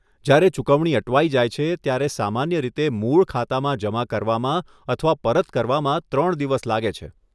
જ્યારે ચુકવણી અટવાઇ જાય છે, ત્યારે સામાન્ય રીતે મૂળ ખાતામાં જમા કરવામાં અથવા પરત કરવામાં ત્રણ દિવસ લાગે છે.